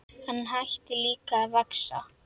Hann hætti líka að vaxa.